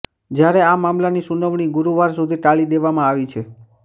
જ્યારે આ મામલાની સુનાવણી ગુરુવાર સુધી ટાળી દેવામાં આવી છે